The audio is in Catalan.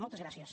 moltes gràcies